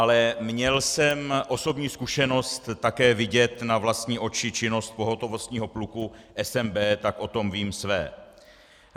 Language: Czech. Ale měl jsem osobní zkušenost také vidět na vlastní oči činnost pohotovostního pluku SNB, tak o tom vím své.